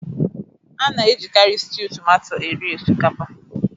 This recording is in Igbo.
A na-ejikari stiu tomato eri osikapa.